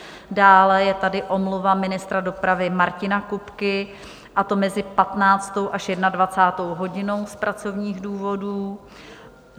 Dále je tady omluva ministra dopravy Martina Kupky a to mezi 15. až 21. hodinou z pracovních důvodů.